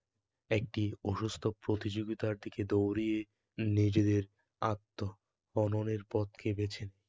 একটি অসুস্থ প্রতিযোগিতার দিকে দৌড়িয়ে নিজেদের আত্তহননের পথকে বেঁছে নেয়